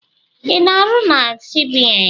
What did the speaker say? I na-arụ na CBN?